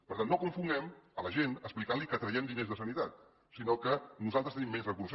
per tant no confonguem la gent explicant li que traiem diners de sanitat sinó que nosaltres tenim menys recursos